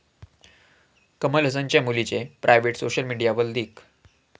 कमल हासनच्या मुलीचे private '' social मीडियावर लीक